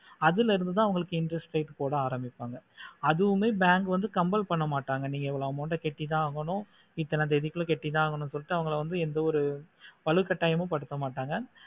அதுலந்துத அவங்களுக்கு interest rate போடா ஆரம்பிப்பாங்க அது வந்து bank வந்து comple பண்ணமாட்டாங்க நீங்க எவ்ளோ amount ஆஹ் கட்டித்த ஆகணும் எத்தனை தேதிக்குள்ள கட்டித்த ஆகணும் அவங்கள வந்து எந்த ஒரு உங்கள வந்து எந்த ஒரு வலுக்கட்டாயமோ படுத்த மாட்டாங்க